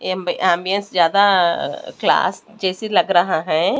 ये एंबियंस ज्यादा क्लास जैसे लग रहा है।